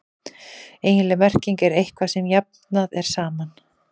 eiginleg merking er „eitthvað sem jafnað er saman“